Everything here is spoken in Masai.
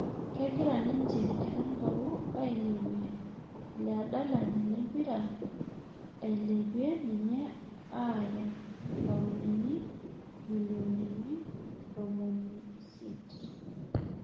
Kegira ninje Erankau ailepie ile adalani lempira, eilepie ninye aaaya paunini milionini ntomoni siet